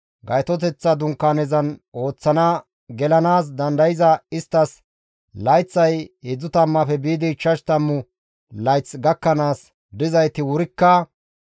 Gaytoteththa Dunkaanezan ooththana gelanaas dandayzaytas layththay heedzdzu tammaafe biidi ichchashu tammu layth gakkanaas dizayti wurikka,